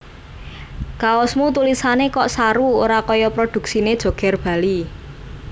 Kaosmu tulisane kok saru ora koyo produksine Joger Bali